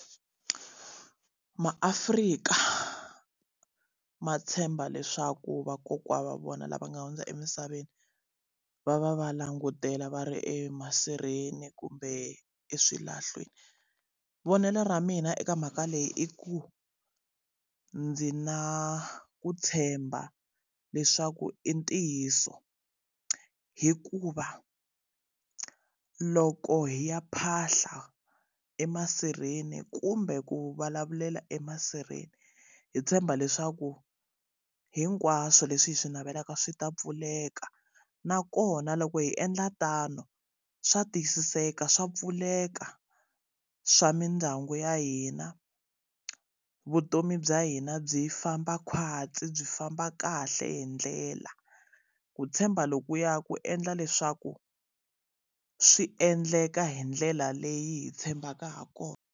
MaAfrika ma tshemba leswaku vakokwana wa vona lava nga hundza emisaveni va va va langutela va ri emasirheni kumbe eswilahlweni. Vonelo ra mina eka mhaka leyi i ku ndzi na ku tshemba leswaku i ntiyiso. Hikuva loko hi ya phahla emasirheni kumbe ku vulavulela emasirheni, hi tshemba leswaku hinkwaswo leswi hi swi navelaka swi ta pfuleka. Nakona loko hi endla tano swa tiyisiseka swa pfuleka, swa mindyangu ya hina, vutomi bya hina byi famba khwatsi byi famba kahle hi ndlela. Ku tshemba lokuya ku endla leswaku swi endleka hi ndlela leyi hi tshembaka ha kona.